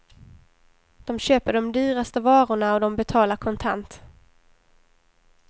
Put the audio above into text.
De köper de dyraste varorna och de betalar kontant.